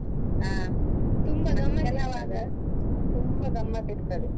ಹ, ತುಂಬಾ ಗಮ್ಮತ್ ಇರ್ತದೆ.